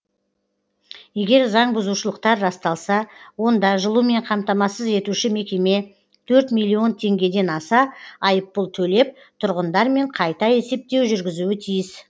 егер заңбұзушылықтар расталса онда жылумен қамтамасыз етуші мекеме төрт миллион теңгеден аса айыппұл төлеп тұрғындармен қайта есептеу жүргізуі тиіс